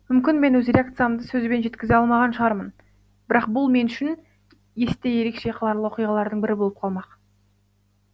мүмкін мен өз реакциямды сөзбен жеткізе алмаған шығармын бірақ бұл мен үшін есте ерекше қаларлық оқиғалардың бірі болып қалмақ